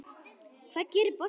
Hvað gerir boltinn?